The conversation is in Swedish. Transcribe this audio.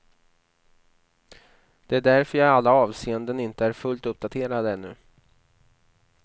Det är därför jag i alla avseenden inte är fullt uppdaterad ännu.